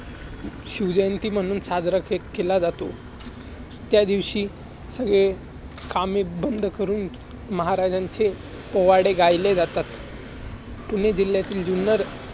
शिव जयंती म्हणून साजरा के~ केला जातो. त्यादिवशी सगळे कामे बंद करून महाराजांचे पोवाडे गायले जातात. पुणे जिल्ह्यातील जुन्नर